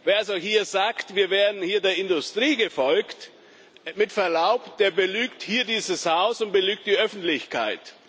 Wer also sagt, wir wären hier der Industrie gefolgt mit Verlaub, der belügt dieses Haus und belügt die Öffentlichkeit.